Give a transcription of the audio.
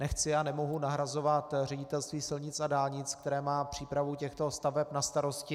Nechci a nemohu nahrazovat Ředitelství silnic a dálnic, které má přípravu těchto staveb na starosti.